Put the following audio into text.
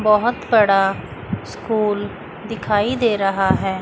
बहोत बड़ा स्कूल दिखाई दे रहा है।